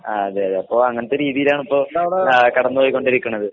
ആഹ് അതെയതെ. അപ്പൊ അങ്ങനത്തെ രീതീലാണിപ്പോ ആഹ് കടന്ന് പൊയ്‌ക്കോണ്ടിരിക്കണത്.